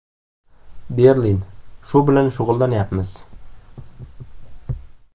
Berlin: Shu bilan shug‘ullanyapmiz.